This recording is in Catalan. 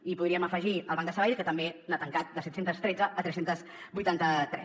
i podríem afegir el banc de sabadell que també n’ha tancat de set cents i tretze a tres cents i vuitanta tres